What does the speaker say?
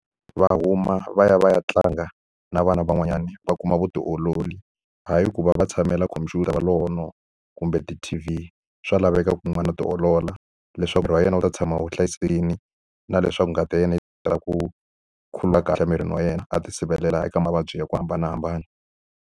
Va huma va ya va ya tlanga na vana van'wanyana va kuma vutiolori, hayi ku va va tshamela computer va lo hono. Kumbe ti-T_V. Swa laveka ku n'wana a ti olola leswaku miri wa yena wu ta tshama va hlayisekile na leswaku ngati ya yena yi tala ku khuluka kahle emirini wa yena. A ti sirhelela eka mavabyi ya ku hambanahambana.